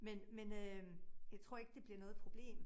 Men men øh jeg tror ikke det bliver noget problem